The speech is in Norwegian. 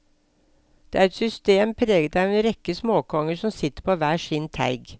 Det er et system preget av en rekke småkonger som sitter på hver sin teig.